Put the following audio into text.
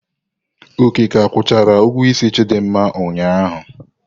Oke ka akwụchara ugwuo isi Chidinma ụnyaahụ.